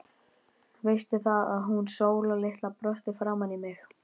Veistu það, að hún Sóla litla brosti framan í mig.